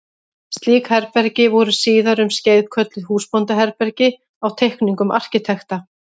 Slík herbergi voru síðar um skeið kölluð húsbóndaherbergi á teikningum arkitekta.